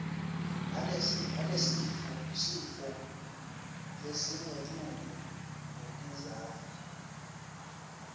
nalesifo lesingetulu ngetizatfu